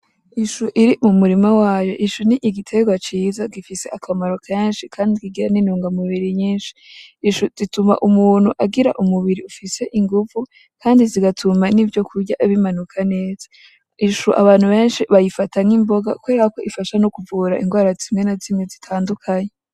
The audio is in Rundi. Ishu iri mu murima wayo , ishu ni igiterwa ciza gifise akamaro kenshi kandi kigira n’ intunga mubiri nyinshi. Ishu zituma Umuntu agira umubiri ufiae inguvu kandi zigatuma n’ivyo kurya bimanuka neza . Ishu abantu benshi ba yifata nk’imboga kubera ko ifasha no kuvura indwara zimwe na zimwe zitandukanye .